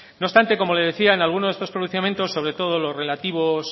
no obstante como le decía en alguno de estos pronunciamientos sobre todo lo relativo